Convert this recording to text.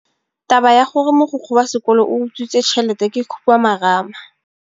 Taba ya gore mogokgo wa sekolo o utswitse tšhelete ke khupamarama.